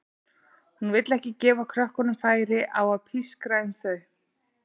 Hún vill ekki gefa krökkunum færi á að pískra um þau.